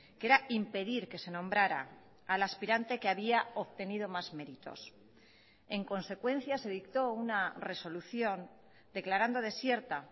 que era impedir que se nombrara al aspirante que había obtenido más méritos en consecuencia se dictó una resolución declarando desierta